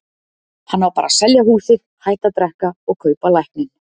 Hann á bara að selja húsið, hætta að drekka og kaupa lækninn.